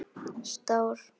Stór